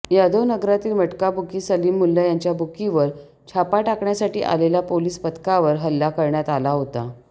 यादवनगरातील मटकाबुकी सलीम मुल्ला याच्या बुकीवर छापा टाकण्यासाठी आलेल्या पोलीस पथकावर हल्ला करण्यात आला होता